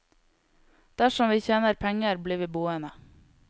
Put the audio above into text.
Dersom vi tjener penger blir vi boende.